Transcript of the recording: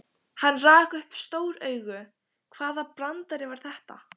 Hann rak upp stór augu, hvaða brandari var þetta?